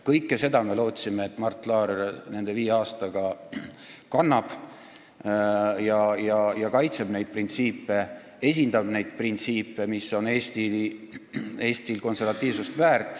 Kõike seda me lootsime Mart Laarilt, et ta selle viie aastaga kannab ja kaitseb ning esindab neid printsiipe, mis väärtustavad Eesti konservatiivsust.